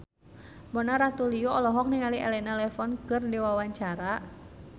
Mona Ratuliu olohok ningali Elena Levon keur diwawancara